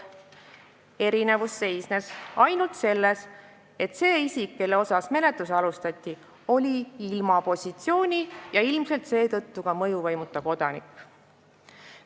Erinevus seisnes ainult selles, et see isik, kelle vastu menetlust alustati, oli ilma positsioonita ja seetõttu ilmselt ka mõjuvõimuta kodanik.